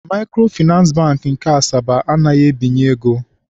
Maịkrofịnansị Bankị nke Asaba anaghịzi ebinye ego